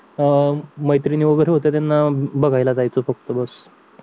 अं मैत्रिणी वगैरे होतं त्यांना बघायला जायचं होतं सोबत